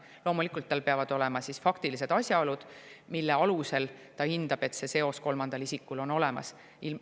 Loomulikult peavad tal olema faktilised asjaolud, mille alusel ta hindab, et see seos kolmandal isikul on olemas.